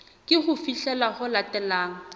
ke ho fihlela ho latelang